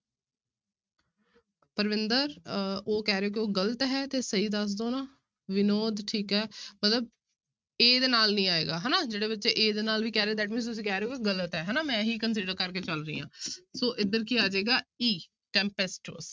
ਪਰਵਿੰਦਰ ਅਹ ਉਹ ਕਹਿ ਰਹੇ ਕਿ ਉਹ ਗ਼ਲਤ ਹੈ ਤੇ ਸਹੀ ਦੱਸ ਦਓ ਨਾ ਵਿਨੋਦ ਠੀਕ ਹੈ ਮਤਲਬ a ਦੇ ਨਾਲ ਨੀ ਆਏਗਾ ਹਨਾ, ਜਿਹੜੇ ਬੱਚੇ a ਦੇ ਨਾਲ ਨੀ ਕਹਿ ਰਹੇ that means ਤੁਸੀਂ ਕਹਿ ਰਹੋ ਕਿ ਗ਼ਲਤ ਹੈ ਹਨਾ ਮੈਂ ਇਹੀ consider ਕਰਕੇ ਚੱਲ ਰਹੀ ਹਾਂ ਸੋ ਇੱਧਰ ਕੀ ਆ ਜਾਏਗਾ e, tempestuous